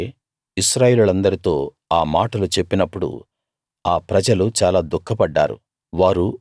మోషే ఇశ్రాయేలీయులందరితో ఆ మాటలు చెప్పినప్పుడు ఆ ప్రజలు చాలా దుఃఖపడ్డారు